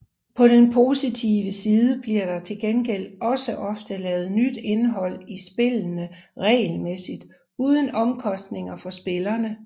På den positive side bliver der til gengæld også ofte lavet nyt indhold i spillene regelmæssigt uden omkostninger for spillerne